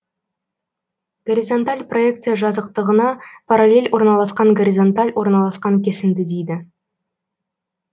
горизонталь проекция жазықтығына параллель орналасқан горизонталь орналасқан кесінді дейді